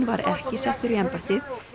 var ekki settur í embættið